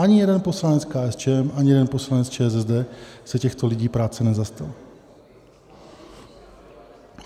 Ani jeden poslanec KSČM ani jeden poslanec ČSSD se těchto lidí práce nezastal.